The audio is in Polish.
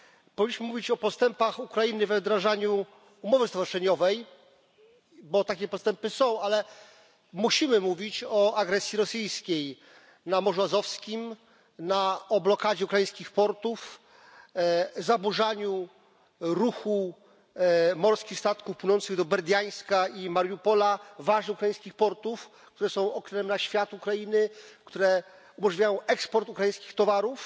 Powinniśmy mówić o postępach Ukrainy we wdrażaniu umowy stowarzyszeniowej, bo takie postępy są, ale musimy mówić o agresji rosyjskiej na Morzu Azowskim, o blokadzie ukraińskich portów, zaburzaniu ruchu morskich statków płynących do Berdiańska i Mariupola ważnych ukraińskich portów, które są oknem na świat Ukrainy i które umożliwiają eksport ukraińskich towarów.